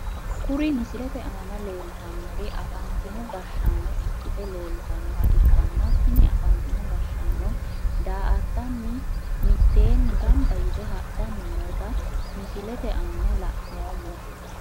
Kuri misilete aana leeltanori afantino gashaano ikite leeltanoha ikanna tini afantino gashaano daa`atani miteeni ganba yite hadhani noota misilete aana lanoomo.